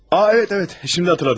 A, bəli, bəli, indi xatırladım.